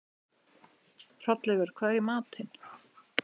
Hrolleifur, hvað er í matinn?